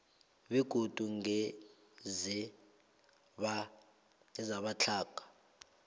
begodu ngeze batlhoga